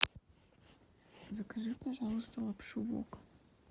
закажи пожалуйста лапшу вок